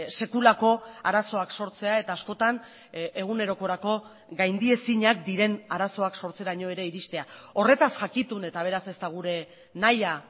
sekulako arazoak sortzea eta askotan egunerokorako gaindiezinak diren arazoak sortzeraino ere iristea horretaz jakitun eta beraz ez da gure nahia